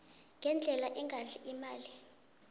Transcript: ngendlela engadli imali